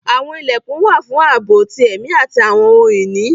Àwọn ilẹkun wà fun àabo ti ẹmi ati awọn ohun-ini